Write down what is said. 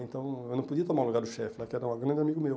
Então, eu não podia tomar o lugar do chefe lá, que era um grande amigo meu.